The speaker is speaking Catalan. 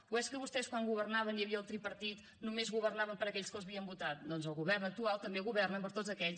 o és que vostès quan governaven i hi havia el tripartit només governaven per a aquells que els havien votat doncs el govern actual també governa per a tots aquells